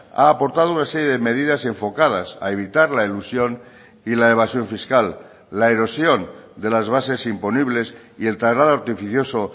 ha aportado una serie de medidas enfocadas a evitar la elusión y la evasión fiscal la erosión de las bases imponibles y el traslado artificioso